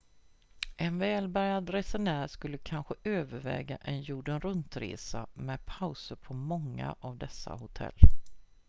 en välbärgad resenär skulle kanske överväga en jorden runt-resa med pauser på många av dessa hotell